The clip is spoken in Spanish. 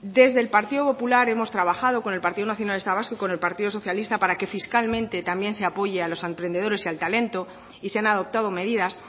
desde el partido popular hemos trabajado con el partido nacionalista vasco y con el partido socialista para que fiscalmente también se apoye a los emprendedores y al talento y se han adoptado medidas